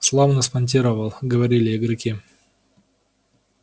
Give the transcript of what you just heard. славно спонтировал говорили игроки